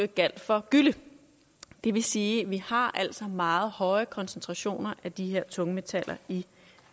gjaldt for gylle det vil sige at vi har meget høje koncentrationer af de her tungmetaller i